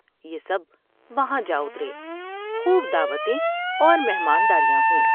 یہ سب وہاں جا اترے۔ خوب دعوتیں اور مہمان داریاں ہوئیں ۔